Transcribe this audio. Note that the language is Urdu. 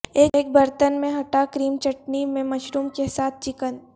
ایک برتن میں ھٹا کریم چٹنی میں مشروم کے ساتھ چکن